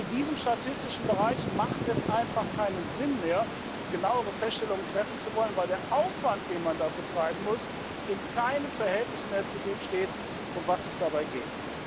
Und in diesem statistischen Bereich macht es einfach keinen Sinn mehr, genauere Feststellungen treffen zu wollen, weil der Aufwand, den man dafür treiben muss, in keinem Verhältnis mehr zu dem steht, um was es dabei geht.